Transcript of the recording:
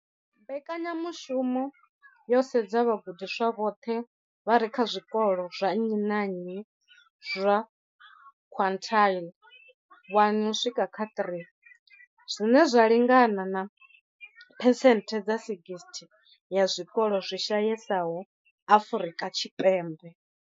Mbekanyamushumo yo sedza vhagudiswa vhoṱhe vha re kha zwikolo zwa nnyi na nnyi zwa quintile 1 uswika kha 3, zwine zwa lingana na phesenthe dza 60 ya zwikolo zwi shayesaho Afrika Tshipembe.